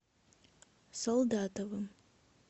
солдатовым